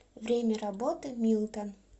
время работы милтон